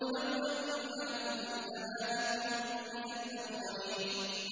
لَوْ أَنَّ عِندَنَا ذِكْرًا مِّنَ الْأَوَّلِينَ